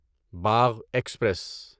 Bagh express